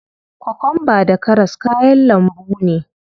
Kokwamba da karas kayan lambu ne.